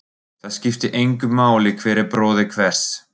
Það skiptir engu máli hver er bróðir hvers.